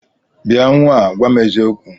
Bịa nnwa a, gwa m eziokwu!